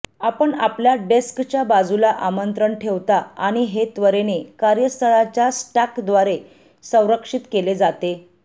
आपण आपल्या डेस्कच्या बाजूला आमंत्रण ठेवता आणि हे त्वरेने कार्यस्थळाच्या स्टॅकद्वारे संरक्षित केले जाते